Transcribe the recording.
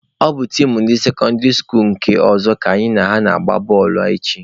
Ọ bụ tim ndị sekọndịrị skuluu nke ọzọ ka anyị na ha ga-agba bọọlụ echi.